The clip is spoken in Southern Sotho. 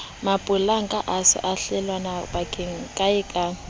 mapolanka e sa blelwang kaekae